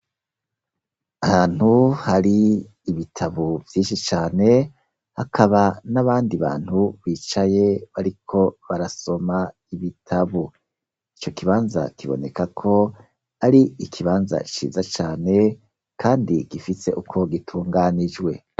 Ahantu hari ibitabo vyinshi cane hakaba n'abandi bantu bicaye bariko barasoma ibitabo , ico kibanza kibonekako ari ikibanza ciza cane kandi gifise uko gitunganijwe.